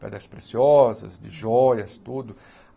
pedras preciosas, de joias, tudo.